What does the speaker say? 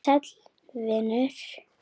Sæll vinur